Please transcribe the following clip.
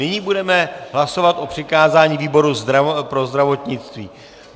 Nyní budeme hlasovat o přikázání výboru pro zdravotnictví.